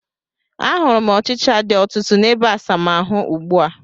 A hụrụ m ọchịcha dị ọtụtụ n'ebeasamaahụ ugbu a